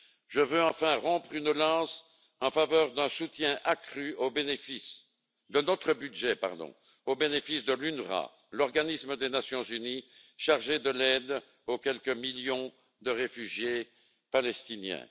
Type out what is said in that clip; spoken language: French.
Je veux enfin rompre une lance en faveur d'un soutien accru de notre budget au bénéfice de l'UNRWA, l'organisme des Nations unies chargé de l'aide aux quelques millions de réfugiés palestiniens.